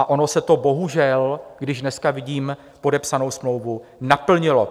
A ono se to bohužel, když dneska vidím podepsanou smlouvu, naplnilo.